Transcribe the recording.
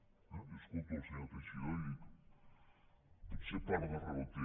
jo escolto el senyor teixidó i dic potser part de raó té